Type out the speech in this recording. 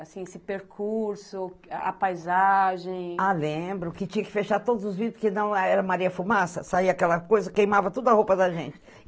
Assim, esse percurso, a paisagem... Ah, lembro, que tinha que fechar todos os vidros, porque não, era maria-fumaça, saía aquela coisa, queimava tudo a roupa da gente.